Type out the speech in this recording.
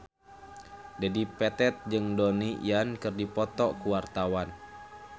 Dedi Petet jeung Donnie Yan keur dipoto ku wartawan